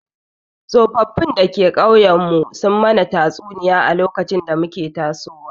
Tsoffin da ke ƙauyen mu sun mana tatsuniya a lokacin da muke tasowa